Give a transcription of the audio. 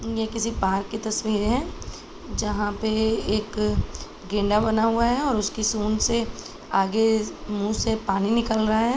ये किसी पार्क की तस्वीर है जहाँ पे एक गेंडा बना हुआ है और उसकी सूढ़ से आगे मुँह से पानी निकल रहा है।